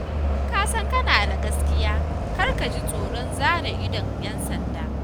Idan ka san kana da gaskiya, kar ka ji tsoron zare idon 'yan sanda.